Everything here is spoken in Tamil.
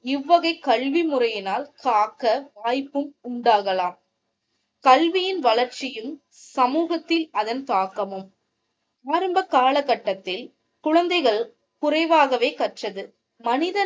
இவ்வகை கல்வி முறையினால் காக்க வாய்ப்பும் உண்டாகலாம் கல்வியின் வளர்ச்சியில் சமூகத்தில் அதன் தாக்கமும் ஆரம்ப காலகட்டத்தில் குழந்தைகள் குறைவாகவே கற்றது மனிதன்